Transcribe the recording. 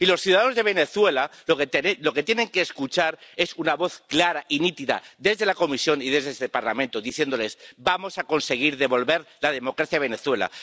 Y los ciudadanos de Venezuela lo que tienen que escuchar es una voz clara y nítida desde la Comisión y desde este Parlamento diciéndoles vamos a conseguir devolver la democracia a Venezuela.